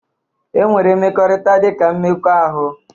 E nwere mmekọrịta dị ka mmekọahụ